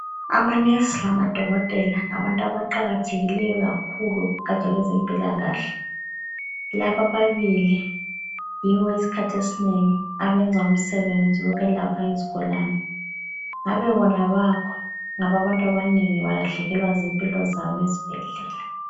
Ama nurse lamadokotela ngabantu abaqakathekileyo kakhulu kugatsha lwezempilakahle. Laba ababili yibo isikhathi esinengi abenza umsebenzi wokwelapha izigulane. Ngabe bona abakho ngabe abantu abanengi balahlekelewa zimpilo zabo ezibhedlela.